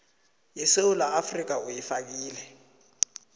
yesewula afrika uyifakile